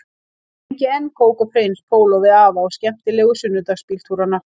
Ég tengi enn kók og prins póló við afa og skemmtilegu sunnudagsbíltúrana